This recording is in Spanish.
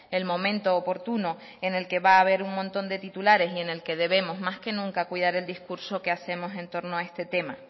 el momento oportuno en el que va a haber un montón de titulares y en el que debemos más que nunca cuidar el discurso que hacemos en torno a este tema